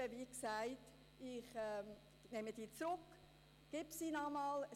Wie gesagt: Ich ziehe die Motion zurück und reiche sie wieder ein.